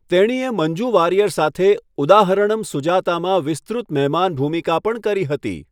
તેણીએ મંજૂ વારિયર સાથે 'ઉદાહરણમ સુજાતા' માં વિસ્તૃત મહેમાન ભૂમિકા પણ કરી હતી.